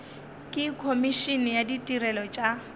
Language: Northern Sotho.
le komišene ya ditirelo tša